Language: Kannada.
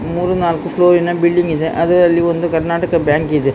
ಮೂರು ನಾಲ್ಕು ಫ್ಲೋರ್ ಇನ ಬಿಲ್ಡಿಂಗ್ ಇದೆ ಅದರಲ್ಲಿ ಒಂದು ಕರ್ನಾಟಕ ಬ್ಯಾಂಕ್ ಇದೆ .